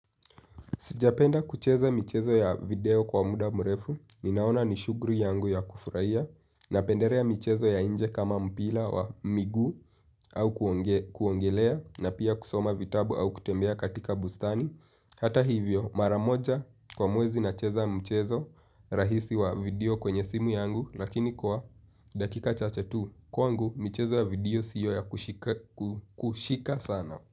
Sijapenda kucheza michezo ya video kwa muda mrefu, ninaona ni shughuli yangu ya kufurahia, napendelea michezo ya nje kama mpira wa miguu au kuogelea na pia kusoma vitabu au kutembea katika bustani. Hata hivyo, maramoja kwa mwezi nacheza mchezo rahisi wa video kwenye simu yangu lakini kwa dakika chache tu, kwangu michezo ya video siyo ya kushika sana.